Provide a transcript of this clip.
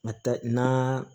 A ta na